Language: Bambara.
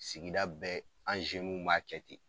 Sigida bɛɛ an w b'a kɛ ten.